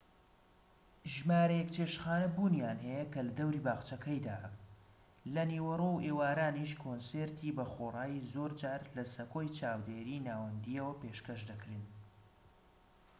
ژمارەیەک چێشتخانە بوونیان هەیە کە لە دەوری باخچەکەیدان لە نیوەڕۆ و ئێوارانیش کۆنسێرتی بەخۆڕایی زۆر جار لە سەکۆی چاودێری ناوەندییەوە پێشکەش دەکرێن